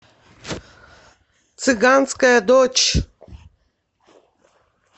цыганская дочь